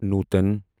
نوٗتَن